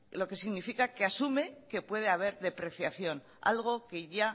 lo que significa que asume que puede haber depreciación algo que ya